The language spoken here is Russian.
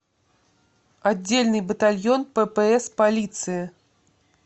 отдельный батальон ппс полиции